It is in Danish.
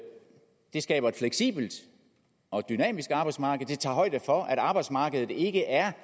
det skaber et fleksibelt og dynamisk arbejdsmarked og det tager højde for at arbejdsmarkedet ikke er